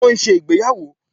Ṣe wọn n ṣe ìgbéyàwò?